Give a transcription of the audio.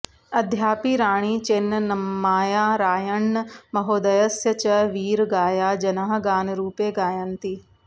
अद्यापि राणि चेन्नम्मायाः रायण्ण महोदयस्य च वीरगाया जनाः गानरूपे गायन्ति